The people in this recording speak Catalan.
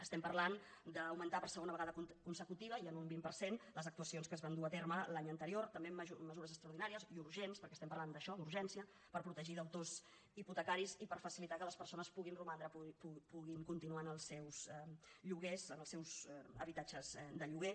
estem parlant d’augmentar per segona vegada consecutiva i en un vint per cent les actuacions que es van dur a terme l’any anterior també amb mesures extraordinàries i urgents perquè estem parlant d’això d’urgència per protegir deutors hipotecaris i per facilitar que les persones puguin romandre puguin continuar en els seus lloguers en els seus habitatges de lloguer